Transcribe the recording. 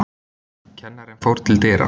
Kennarinn fór til dyra.